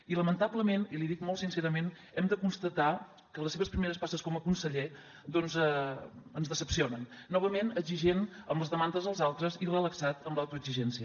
i lamentablement i l’hi dic molt sincerament hem de constatar que les seves primeres passes com a conseller doncs ens decepcionen novament exigent amb les demandes dels altres i relaxat amb l’autoexigència